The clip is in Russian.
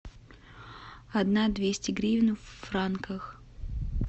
одна двести гривен в франках